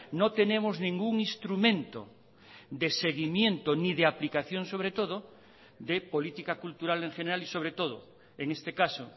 no tenemos ningún instrumento de seguimiento ni de aplicación sobre todo de política cultural en general y sobre todo en este caso